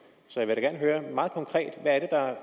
så vil jeg høre meget konkret hvad er